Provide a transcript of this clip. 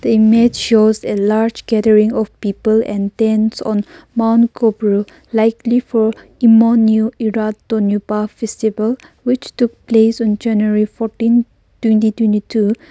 image shows a large gathering of people and tents on mount koubru likely for emoinu erat thouniba festival which took place on january fourteen twenty twenty two.